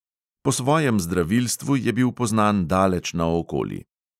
Po svojem zdravilstvu je bil poznan daleč naokoli.